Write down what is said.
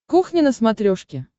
кухня на смотрешке